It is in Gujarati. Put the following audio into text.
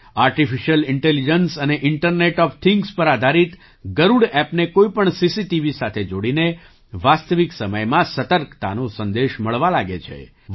આર્ટિફિશિયલ ઇન્ટેલિજન્સ અને ઇન્ટરનેટ ઑફ થિંગ્સ પર આધારિત ગરુડ ઍપને કોઈ પણ સીસીટીવી સાથે જોડીને વાસ્તવિક સમયમાં સતર્કતાનો સંદેશ મળવા લાગે છે